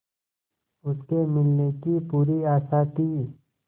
उसके मिलने की पूरी आशा थी